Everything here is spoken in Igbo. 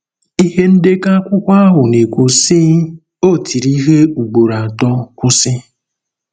Ihe ndekọ akwụkwọ ahụ na-ekwu, sị: “ O tiri ihe ugboro atọ, kwụsị.